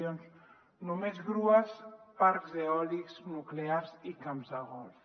no ens arriben subvencions només grues parcs eòlics nuclears i camps de golf